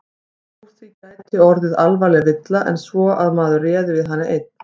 Úr því gæti orðið alvarlegri villa en svo að maður réði við hana einn.